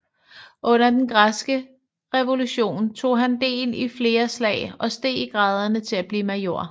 Under den græske revolution tog han del i flere slag og steg i graderne til at blive major